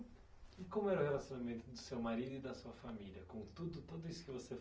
E como era o relacionamento do seu marido e da sua família com tudo, tudo isso que você